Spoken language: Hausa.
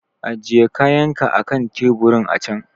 Ajiye kayanka akan teburin a can!